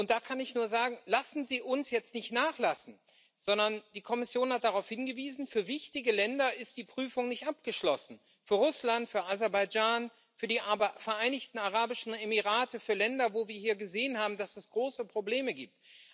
Da kann ich nur sagen Lassen Sie uns jetzt nicht nachlassen, sondern die Kommission hat darauf hingewiesen für wichtige Länder ist die Prüfung nicht abgeschlossen für Russland, für Aserbaidschan, für die Vereinigten Arabischen Emirate, für Länder, wo wir hier gesehen haben, dass es große Probleme gibt.